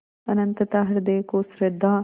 अनंतता हृदय को श्रद्धा